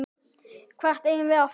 Hvert eigum við að fara?